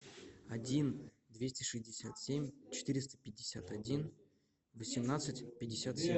один двести шестьдесят семь четыреста пятьдесят один восемнадцать пятьдесят семь